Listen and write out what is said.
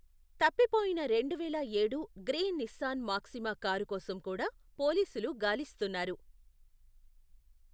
తప్పిపోయిన రెండువేల ఏడు గ్రే నిస్సాన్ మాక్సిమా కారు కోసం కూడా పోలీసులు గాలిస్తున్నారు.